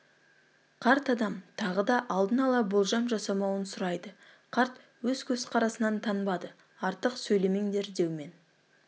қарт адам тағы да алдын ала болжам жасамауын сұрайды қарт өз көзқарасынан танбады артық сөйлемеңдер деумен